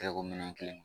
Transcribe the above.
Terikɛ ko minɛn kelen